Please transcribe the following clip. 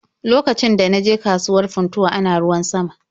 Lokacin da na je kasuwar Funtuwa ana ruwan sama.